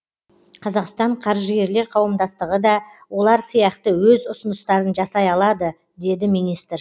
қазақстан қаржыгерлер қауымдастығы да олар сияқты өз ұсыныстарын жасай алады деді министр